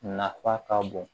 Nafa ka bon